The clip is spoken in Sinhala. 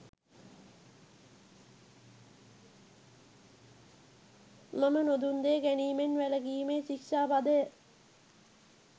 මම නොදුන් දේ ගැනීමෙන් වැළකීමේ ශික්‍ෂා පදය